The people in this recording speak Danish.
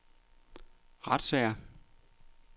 retssager